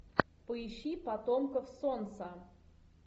поищи потомков солнца